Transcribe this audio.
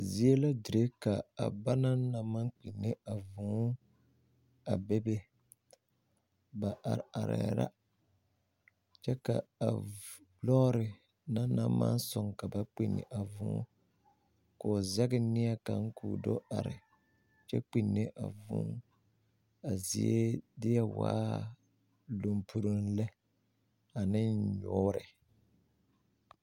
Zie la dire ka a banaŋ na maŋ kpinne a vūū a bebe ba are arɛɛ la kyɛ ka a lɔɔre na na maŋ soŋ ka ba kpinni a vūū k'o zɛŋ neɛ kaŋa ka o do are kyɛ kpinne a vūū a zie deɛ waa lumpuroŋ lɛ ane nyoore.